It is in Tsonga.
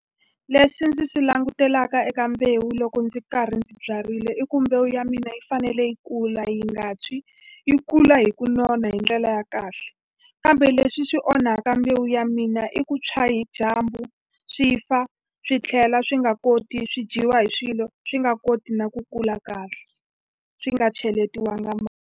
Leswi ndzi swi langutelaka eka mbewu loko ndzi karhi ndzi byarile i ku mbewu ya mina yi fanele yi kula yi nga tshwi, yi kula hi ku nona hi ndlela ya kahle. Kambe leswi swi onhaka mbewu ya mina i ku tshwa hi dyambu, swi fa, swi tlhela swi nga koti swi dyiwa hi swilo. Swi nga koti na ku kula kahle, swi nga cheletiwanga .